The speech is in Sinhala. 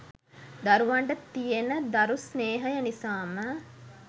දරුවන්ට තියෙන දරු ස්නේහය නිසාම